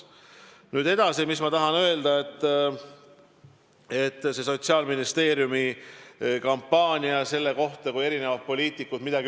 Nüüd edasi, mis ma veel tahan öelda selle Sotsiaalministeeriumi kampaania kohta.